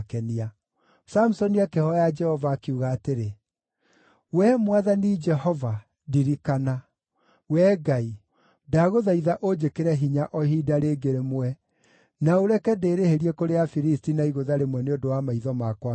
Samusoni akĩhooya Jehova, akiuga atĩrĩ, “Wee Mwathani Jehova, ndirikana. Wee Ngai, ndagũthaitha ũnjĩkĩre hinya o ihinda rĩngĩ rĩmwe, na ũreke ndĩĩrĩhĩrie kũrĩ Afilisti na igũtha rĩmwe nĩ ũndũ wa maitho makwa meerĩ.”